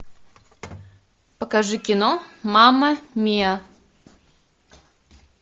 покажи кино мама миа